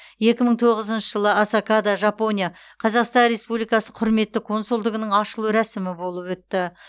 екі мың тоғызыншы жылы осакада жапония қазақстан республикасы құрметті консулдығының ашылу рәсімі болып өтті